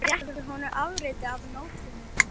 spyr hann þegar hún réttir honum afritið af nótunni.